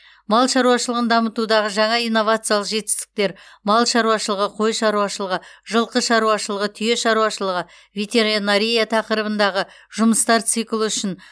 мал шаруашылығын дамытудағы жаңа инновациялық жетістіктер мал шаруашылығы қой шаруашылығы жылқы шаруашылығы түйе шаруашылығы ветеринария тақырыбындағы жұмыстар циклі үшін